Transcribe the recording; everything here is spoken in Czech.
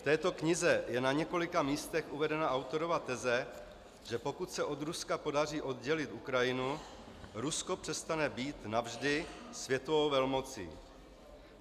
V této knize je na několika místech uvedena autorova teze, že pokud se od Ruska podaří oddělit Ukrajinu, Rusko přestane být navždy světovou velmocí.